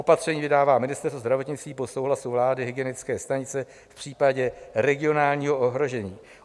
Opatření vydává Ministerstvo zdravotnictví po souhlasu vlády, hygienické stanice v případě regionálního ohrožení.